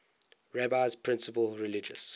rabbi's principal religious